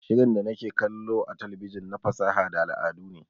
Shirin da nake kallo a talabijin na fasaha da al'adu ne